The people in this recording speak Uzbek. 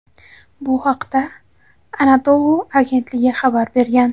Bu haqda "Anadolu" agentligi xabar bergan.